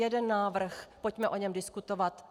Jeden návrh, pojďme o něm diskutovat.